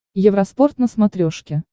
евроспорт на смотрешке